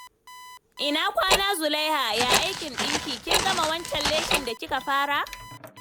Ina kwana, Zulaiha? Yaya aikin dinki? Kin gama wancan leshin da kika fara?